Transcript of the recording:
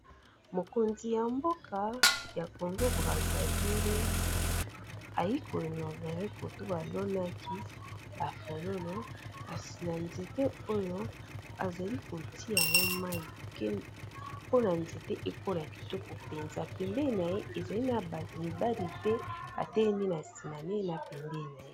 Mokonzi ya mboka ya Congo Brazza ville aye ko inaugurer côté ba lonaki ba fololo, kasi na nzete oyo, a zali ko tia yango mayi pona nzete ekola Kitoko mpenza. Pembeni na ye, ezali na batu mibali pe a telemi sima na ye na pembeni na ye .